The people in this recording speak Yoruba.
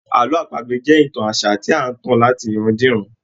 Àlọ́ àpagbè jẹ́ ìtàn àṣà tí à ń tàn láti iran-diran.